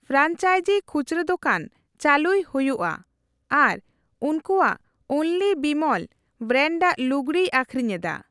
ᱯᱷᱮᱨᱟᱝᱤᱡ ᱠᱷᱩᱪᱨᱟᱹ ᱫᱚᱠᱟᱱ ᱪᱟᱹᱞᱩᱭ ᱦᱩᱭᱩᱜ ᱟᱨ ᱩᱱᱠᱩᱭᱟᱜ 'ᱚᱱᱞᱤ ᱵᱤᱢᱚᱞ' ᱵᱮᱨᱮᱱᱰᱟᱜ ᱞᱩᱜᱲᱤᱭ ᱟᱹᱠᱷᱨᱤᱧ ᱮᱫᱟ ᱾